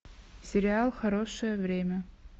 сериал хорошее время